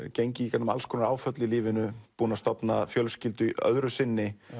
gengið í gegnum alls konar áföll í lífinu búinn að stofna fjölskyldu öðru sinni